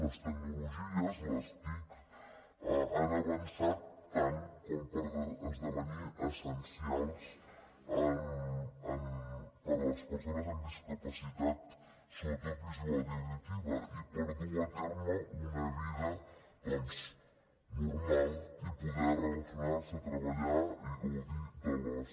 les tecnologies les tic han avançat tant per esdevenir essencials per a les persones amb discapacitat sobretot visual i auditiva i per dur a terme una vida normal i poder relacionar se treballar i gaudir de l’oci